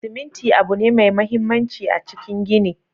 Siminti abu ne mai mahimmanci a cikin gini.